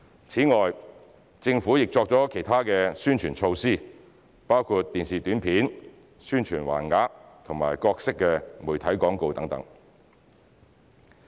此外，政府亦作了其他宣傳措施，包括電視短片、宣傳橫額和各式媒體廣告等。